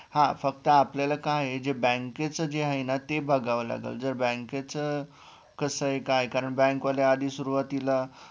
हा फक्त आपलं काय ये जे bank चं जे आहे ना ते बघावं लागेल जर bank चं कसंय काय कारण bank वाले आधी सुरवातीला